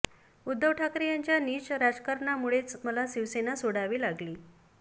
उद्धव ठाकरे यांच्या नीच राजकारणामुळेच मला शिवसेना सोडावी लागली